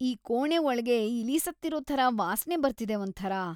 ಈ ಕೋಣೆ ಒಳ್ಗೆ ಇಲಿ ಸತ್ತಿರೋ ಥರ ವಾಸ್ನೆ ಬರ್ತಿದೆ ಒಂಥರ.